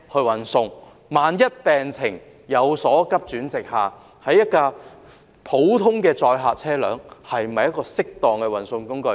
但是，萬一病情急轉直下，普通載客車輛是否適當的運送工具？